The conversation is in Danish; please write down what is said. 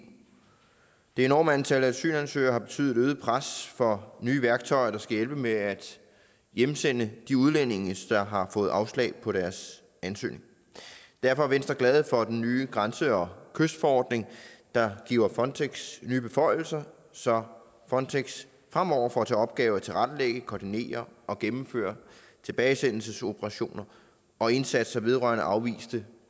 det enorme antal asylansøgere har betydet et øget pres for at få nye værktøjer der skal hjælpe med at hjemsende de udlændinge der har fået afslag på deres ansøgning derfor er venstre glade for den nye grænse og kystforordning der giver frontex nye beføjelser så frontex fremover får til opgave at tilrettelægge koordinere og gennemføre tilbagesendelsesoperationer og indsatser vedrørende afviste